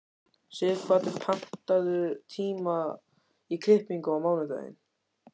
Sighvatur, pantaðu tíma í klippingu á mánudaginn.